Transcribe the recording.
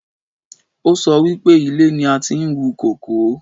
Ó sọ wípé ilẹ̀ ni a ti ń wú kókò